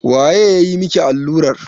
Waye ya yi maki allurar?